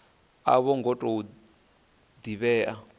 a vho ngo tou divhea